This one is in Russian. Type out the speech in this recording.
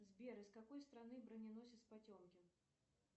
сбер из какой страны броненосец потемкин